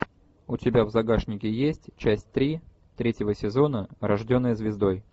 у тебя в загашнике есть часть три третьего сезона рожденная звездой